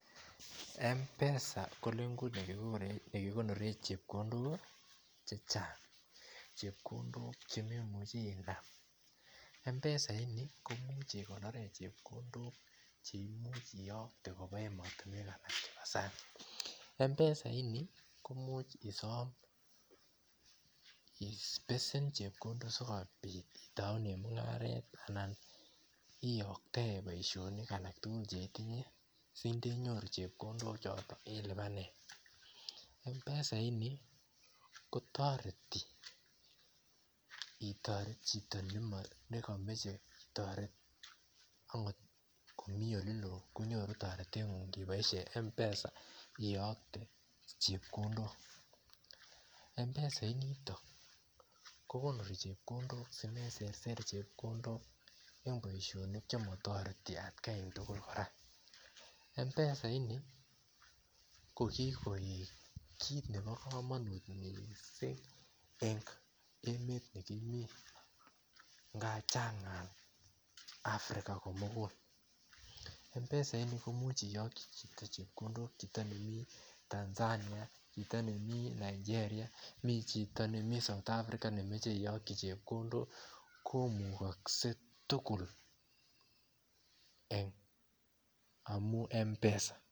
M-pesa ko legut ne kikonoren chepkondok chechang , chepkondok che memuchi inam, m-pesa ini koimuch ikonoren chepkondok che imuch iyokte koba emotinwek alak chebo sang , m-pesa ini koimuch isom ibesen chepkondok sikobit itounen mungaret anan iyoktaen boisionik agetugul che itinye sindenyoru chepkondok chotok ilibanen, m-pesa ini kotoreti itoret chito nekomoche toretet agot ngomi ole loo konyoru toretengung iboisien m-pesa iyokte chepkondok. M-pesa initok kokonori chepkondok simeserser chepkondok eng boisionik che motoreti atgaitugul korak, m-pesa ini ko kikoik kit nebo komonut mising eng emet nekimi nga Chang ngal Afrika komugul. M-pesa ini koimuch iyoki chito nemi Tanzania ,chito nemi Nigeria me chito nemi South Afrika nemoche iyoki chepkondok komukokse tugul eng amun m-pesa